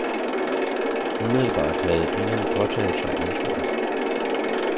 Umiddelbart havde ingen påtaget sig ansvaret.